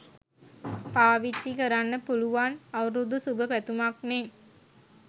පාවිච්චි කරන්න පුලුවන් අවුරුදු සුභ පැතුමක්නෙ.